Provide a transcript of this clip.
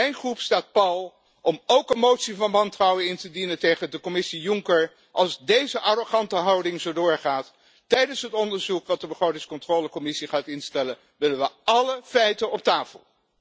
Mijn fractie staat pal om ook een motie van wantrouwen in te dienen tegen de Commissie Juncker als deze arrogante houding zo doorgaat. Tijdens het onderzoek dat de Commissie begrotingscontrole gaat instellen, willen we alle feiten op tafel!